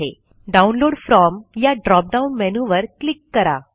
download from या drop down मेनूवर click करा